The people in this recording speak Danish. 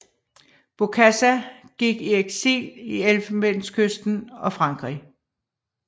Bokassa gik i eksil i Elfenbenskysten og Frankrig